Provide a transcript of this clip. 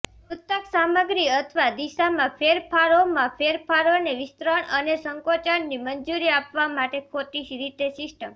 તૂતક સામગ્રી અથવા દિશામાં ફેરફારોમાં ફેરફારોને વિસ્તરણ અને સંકોચનની મંજૂરી આપવા માટે ખોટી રીતે સિસ્ટમ